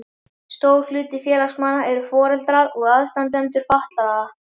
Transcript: Stór hluti félagsmanna eru foreldrar og aðstandendur fatlaðra.